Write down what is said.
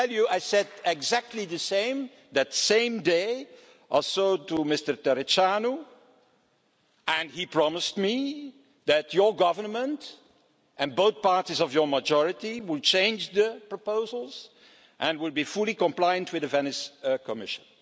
I said exactly the same, that same day, to Mr Tăriceanu and he promised me that your government and both parties forming your majority will change the proposals and will be fully compliant with the Venice Commission.